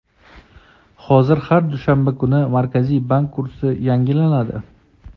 Hozir har dushanba kuni Markaziy bank kursi yangilanadi.